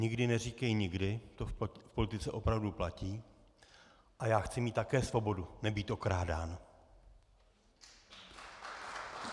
Nikdy neříkej nikdy, to v politice opravdu platí, a já chci mít také svobodu nebýt okrádán.